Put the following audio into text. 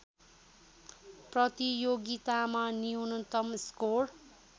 प्रतियोगितामा न्यूनतम स्कोर